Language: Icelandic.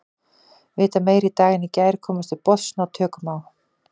Vita meira í dag en í gær, komast til botns, ná tökum á.